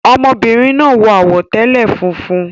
Ọmọbìnrin náà wọ àwọ̀tẹ́lẹ̀ funfun